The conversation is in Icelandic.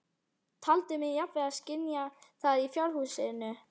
Taldi mig jafnvel skynja það í fjárhúsinu.